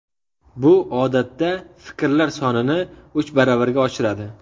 Bu, odatda, fikrlar sonini uch baravarga oshiradi.